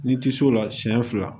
Ni tisola siɲɛ fila